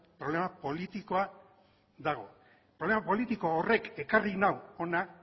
problema politikoa dago problema politiko horrek ekarri nau hona